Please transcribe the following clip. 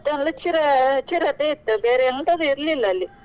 ಮತ್ತೊಂದು ಚಿರ~ಚಿರತೆ ಇತ್ತು ಬೇರೆ ಎಂತದು ಇರ್ಲಿಲ್ಲ ಅಲ್ಲಿ .